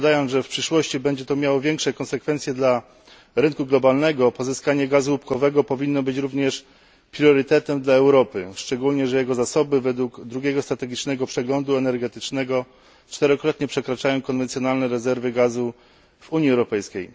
Zakładając, że w przyszłości będzie to miało większe konsekwencje dla rynku globalnego, pozyskanie gazu łupkowego powinno być również priorytetem dla Europy. Szczególnie że jego zasoby, według drugiego strategicznego przeglądu energetycznego, przekraczają czterokrotnie konwencjonalne rezerwy gazu w Unii Europejskiej.